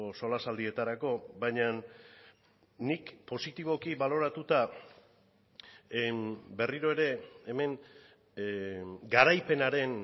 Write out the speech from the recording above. solasaldietarako baina nik positiboki baloratuta berriro ere hemen garaipenaren